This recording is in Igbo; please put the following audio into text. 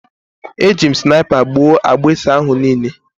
Eji m snaipa gbụo agbusi ahụ niile